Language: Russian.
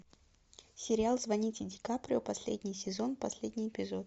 сериал звоните ди каприо последний сезон последний эпизод